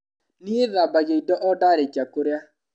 Niĩ thambagia indo o ndarĩkia kũrĩa.